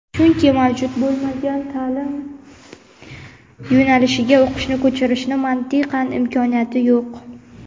chunki mavjud bo‘lmagan taʼlim yo‘nalishiga o‘qishni ko‘chirishni mantiqan imkoniyati yo‘q.